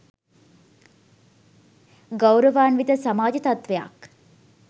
ගෞරවාන්විත සමාජ තත්ත්වයක්